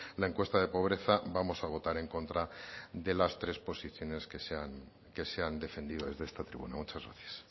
la encuesta de pobreza vamos a votar en contra de las tres posiciones que se han defendido desde esta tribuna muchas gracias